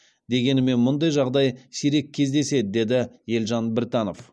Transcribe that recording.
дегенімен мұндай жағдай сирек кездеседі деді елжан біртанов